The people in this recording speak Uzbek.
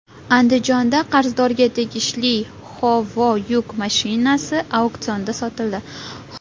Andijonda qarzdorga tegishli Howo yuk mashinasi auksionda sotildi.